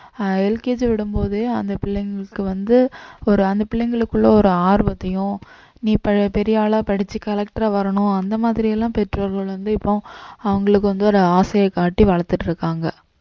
ஆஹ் LKG விடும்போதே அந்த பிள்ளைங்களுக்கு வந்து ஒரு அந்த பிள்ளைங்களுக்குள்ள ஒரு ஆர்வத்தையும் நீ ப~ பெரிய ஆளா படிச்சு collector ஆ வரணும் அந்த மாதிரியெல்லாம் பெற்றோர்கள் வந்து இப்போ அவங்களுக்கு வந்து ஒரு ஆசையை காட்டி வளர்த்துட்டு இருக்காங்க